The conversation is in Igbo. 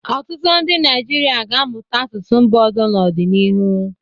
Ọtụtụ ndị Naịjirịa ga-amụta asụsụ mba ọzọ n'ọdịnihu.